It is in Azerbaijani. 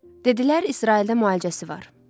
Dedilər İsraildə müalicəsi var.